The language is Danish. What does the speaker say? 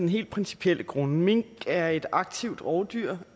helt principielle grunde mink er et aktivt rovdyr